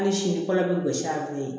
Hali sini kɔlo bɛ gosi a bolo